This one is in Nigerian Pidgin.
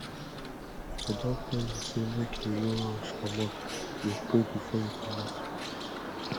i don tell you sey make you no rush comot dey pray before you comot